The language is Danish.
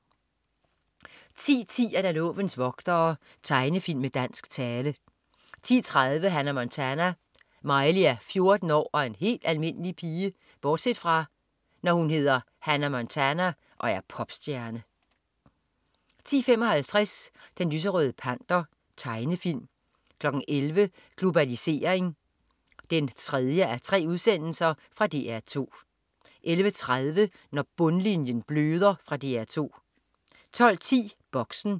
10.10 Lovens vogtere. Tegnefilm med dansk tale 10.30 Hannah Montana. Miley er 14 år og en helt almindelig pige bortset fra, når hun hedder Hannah Montana og er popstjerne 10.55 Den lyserøde panter. Tegnefilm 11.00 Globalisering 3:3. Fra DR 2 11.30 Når bundlinjen bløder. Fra DR 2 12.10 Boxen